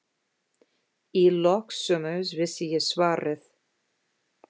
Í lok sumars vissi ég svarið.